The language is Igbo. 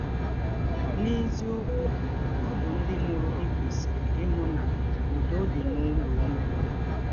N’eziọkwụ, ọ bụ ndị mụrụ gị kwesịrị ịhụ na ụdọ dị n’ụlọ ụnụ.